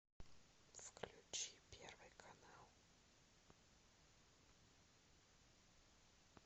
включи первый канал